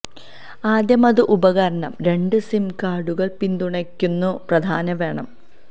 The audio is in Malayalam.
ആദ്യം അത് ഉപകരണം രണ്ട് സിം കാർഡുകൾ പിന്തുണയ്ക്കുന്നു പ്രാധാന്യം വേണം